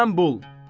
Həmən bul!